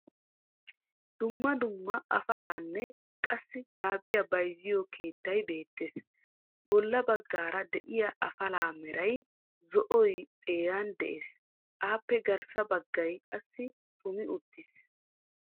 Dumma dumma afalaanne qassi gaabiyaa bayzziyoo keettay beettees. Bolla baggaara de'iyaa afalaa meray zo"oy xeeran de'ees. Appe garssa baaggay qassi xumi uttiis.